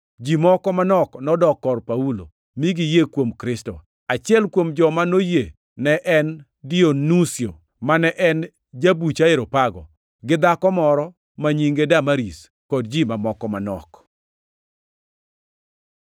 Ji moko manok nodok kor Paulo, mi giyie kuom Kristo. Achiel kuom joma noyie ne en Dionusio, mane en jabuch Areopago, gi dhako moro ma nyinge Damaris, kod ji mamoko manok.